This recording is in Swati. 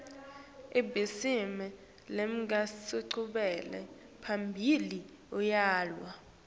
ibhizimisi lengenanchubekela phambili iyavalwa